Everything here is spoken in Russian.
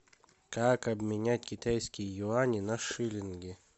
как обменять китайские юани на шиллинги